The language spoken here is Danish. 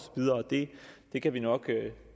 det kan vi nok